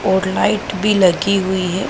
और लाइट भी लगी हुई है।